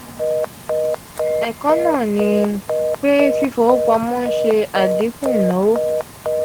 ẹkọ naa ni naa ni pe fifipamọ n se adinku inawo.